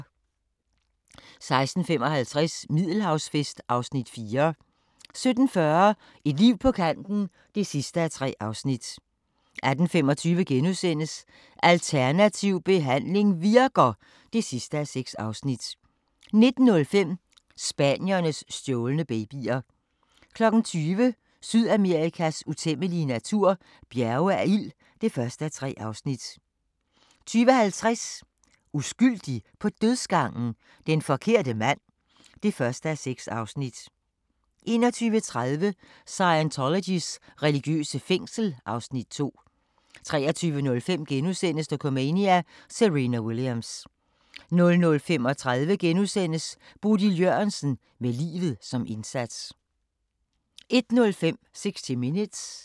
16:55: Middelhavsfest (Afs. 4) 17:40: Et liv på kanten (3:3) 18:25: Alternativ behandling virker! (6:6)* 19:05: Spaniens stjålne babyer 20:00: Sydamerikas utæmmelige natur – bjerge af ild (1:3) 20:50: Uskyldig på dødsgangen? Den forkerte mand (1:6) 21:30: Scientologys religiøse fængsel (Afs. 2) 23:05: Dokumania: Serena Williams * 00:35: Bodil Jørgensen – med livet som indsats * 01:05: 60 Minutes